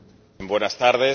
Buenas tardes.